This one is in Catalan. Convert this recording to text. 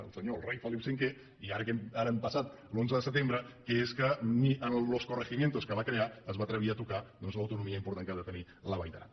el rei felip v i ara que hem passat l’onze de setembre que és que ni en els corregimientos que va crear es va atrevir a tocar doncs l’autonomia important que ha de tenir la vall d’aran